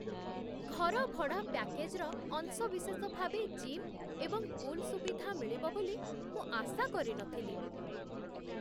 ଘର ଭଡ଼ା ପ୍ୟାକେଜ୍‌ର ଅଂଶବିଶେଷ ଭାବେ ଜିମ୍ ଏବଂ ପୁଲ୍ ସୁବିଧା ମିଳିବ ବୋଲି ମୁଁ ଆଶା କରି ନ ଥିଲି।